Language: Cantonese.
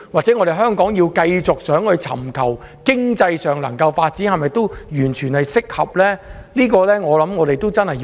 如果香港想繼續尋求經濟發展，這種稅制和政策是否完全適合呢？